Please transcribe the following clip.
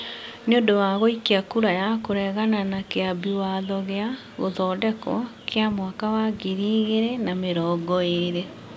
nĩũndũ wa gũikia kura ya kũregana na kĩambi watho gia (Gũthondekwo) kĩa mwaka wa ngiri igĩrĩ na mĩrongo eerĩ.